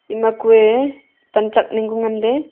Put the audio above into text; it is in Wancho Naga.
ema kue panchak ning ku nganley kue.